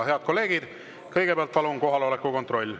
Head kolleegid, kõigepealt palun kohaloleku kontroll.